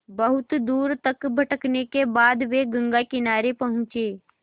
बहुत दूर तक भटकने के बाद वे गंगा किनारे पहुँचे